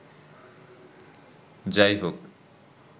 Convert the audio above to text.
যাই হোক